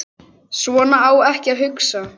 Svona á ekki að hugsa.